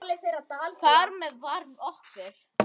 Þar með var okkur